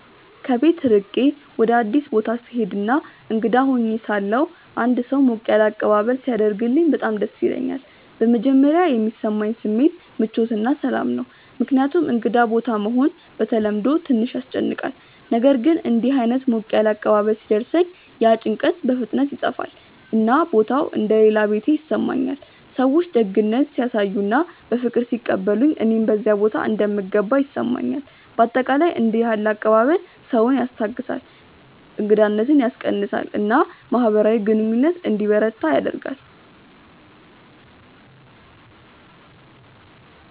ከቤት ርቄ ወደ አዲስ ቦታ ስሄድ እና እንግዳ ሆኜ ሳለሁ አንድ ሰው ሞቅ ያለ አቀባበል ሲያደርግልኝ በጣም ደስ ይለኛል። በመጀመሪያ የሚሰማኝ ስሜት ምቾት እና ሰላም ነው፣ ምክንያቱም እንግዳ ቦታ መሆን በተለምዶ ትንሽ ያስጨንቃል። ነገር ግን እንዲህ ዓይነት ሞቅ ያለ አቀባበል ሲደርሰኝ ያ ጭንቀት በፍጥነት ይጠፋል፣ እና ቦታው እንደ “ ሌላ ቤቴ ” ይሰማኛል። ሰዎች ደግነት ሲያሳዩ እና በፍቅር ሲቀበሉኝ እኔም በዚያ ቦታ እንደምገባ ይሰማኛል። በአጠቃላይ እንዲህ ያለ አቀባበል ሰውን ያስታግሳል፣ እንግዳነትን ያስቀንሳል እና ማህበራዊ ግንኙነት እንዲበረታ ያደርጋል።